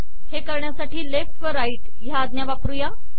हे करण्यासाठी लेफ्ट व राईट या आज्ञा वापरूया